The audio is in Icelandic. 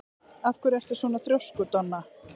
Af hverju ertu svona þrjóskur, Donna?